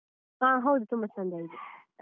ಹ ಹೌದು ತುಂಬ ಚಂದ ಇದೆ.